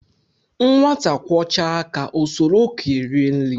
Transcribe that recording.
Nwata kwọchaa aka o soro okenye rie nri